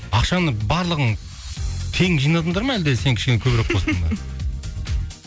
ақшаны барлығың тең жинадыңдар ма әлде сен кішкене көбірек қостың ба